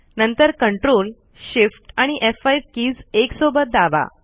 नंतर ctrlshiftf5 keys एकसोबत दाबा